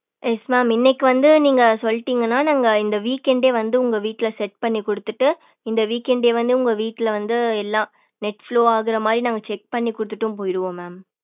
yesmam இன்னைக்கு வந்து நீங்க சொல்டிங்கான நாங்க இந்த weekend டே வந்து உங்க வீட்ல set பண்ணி கொடுத்துட்டு இந்த weekend டே வந்து உங்க வீட்ல வந்து எல்லாம் netflow ஆகுற மாதிரி நாங்க check பண்ணி கொடுத்துட்டு போயிடுவோ mam